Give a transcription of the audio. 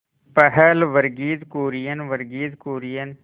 पहल वर्गीज कुरियन वर्गीज कुरियन